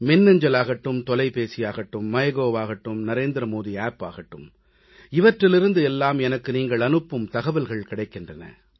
மின்னஞ்சல் ஆகட்டும் தொலைபேசியாகட்டும் mygovஆகட்டும் NarendraModiApp ஆகட்டும் இவற்றிலிருந்து எல்லாம் எனக்கு நீங்கள் அனுப்பும் தகவல்கள் கிடைக்கின்றன